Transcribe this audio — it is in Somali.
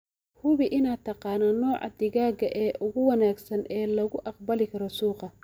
Hubi inaad taqaano nooca digaaga ee ugu wanaagsan ee laga aqbali karo suuqa.